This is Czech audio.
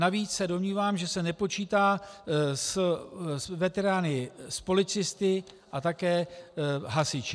Navíc se domnívám, že se nepočítá s veterány policisty a také hasiči.